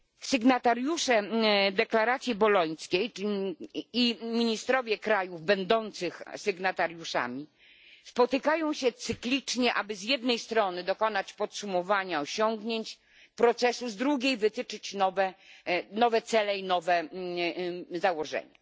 Sygnatariusze Deklaracji Bolońskiej i ministrowie krajów będących sygnatariuszami spotykają się cyklicznie, aby z jednej strony dokonać podsumowania osiągnięć procesu, a z drugiej wytyczyć nowe cele i nowe założenia.